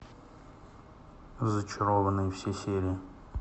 зачарованные все серии